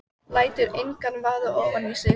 Lætur engan vaða ofan í sig.